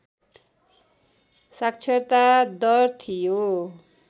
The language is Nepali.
साक्षरता दर थियो